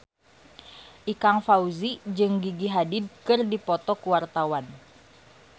Ikang Fawzi jeung Gigi Hadid keur dipoto ku wartawan